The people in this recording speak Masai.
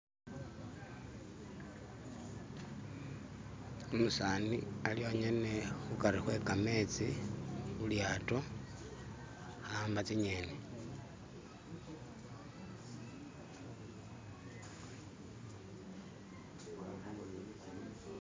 Umusani ali yonyene khukari khwekametsi khulyato akhamba tsinyeni